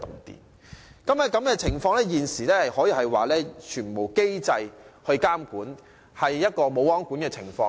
現時，這種情況可說是全無機制監管，即"無皇管"的情況。